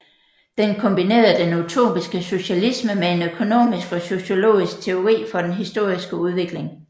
Den kombinerede den utopiske socialisme med en økonomisk og sociologisk teori for den historiske udvikling